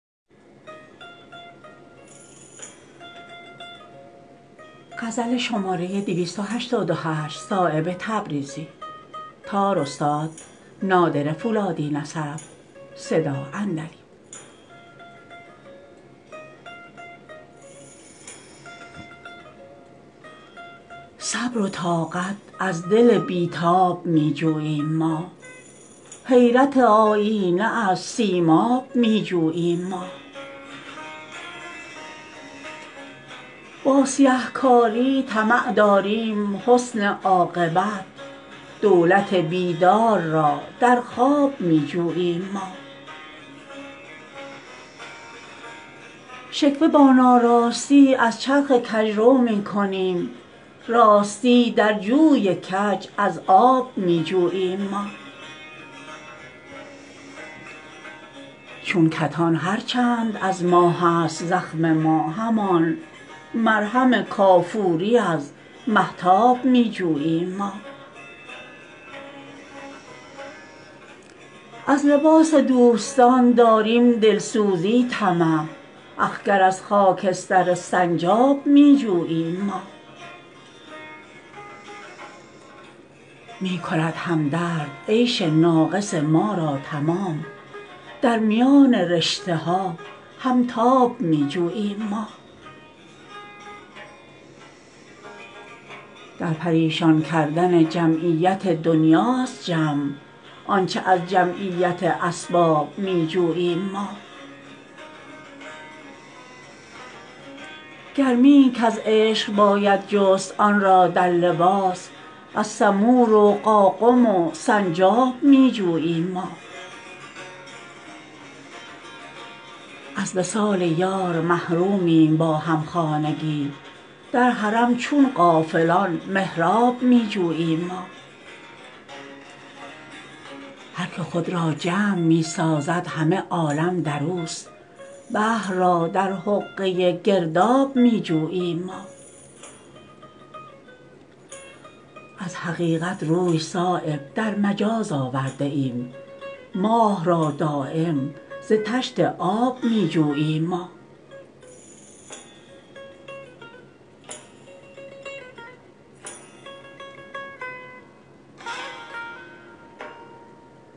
صبر و طاقت از دل بی تاب می جوییم ما حیرت آیینه از سیماب می جوییم ما با سیه کاری طمع داریم حسن عاقبت دولت بیدار را در خواب می جوییم ما شکوه با ناراستی از چرخ کجرو می کنیم راستی در جوی کج از آب می جوییم ما چون کتان هر چند از ماه است زخم ما همان مرهم کافوری از مهتاب می جوییم ما از لباسی دوستان داریم دلسوزی طمع اخگر از خاکستر سنجاب می جوییم ما می کند همدرد عیش ناقص ما را تمام در میان رشته ها همتاب می جوییم ما در پریشان کردن جمعیت دنیاست جمع آنچه از جمعیت اسباب می جوییم ما گرمیی کز عشق باید جست آن را در لباس از سمور و قاقم و سنجاب می جوییم ما از وصال یار محرومیم با همخانگی در حرم چون غافلان محراب می جوییم ما هر که خود را جمع می سازد همه عالم در اوست بحر را در حقه گرداب می جوییم ما از حقیقت روی صایب در مجاز آورده ایم ماه را دایم ز طشت آب می جوییم ما